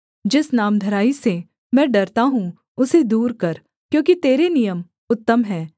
जिस नामधराई से मैं डरता हूँ उसे दूर कर क्योंकि तेरे नियम उत्तम हैं